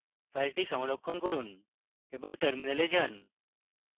file সংরক্ষণ করুন এবং terminal যান